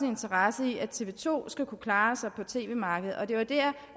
interesse i at tv to skal kunne klare sig på tv markedet det var der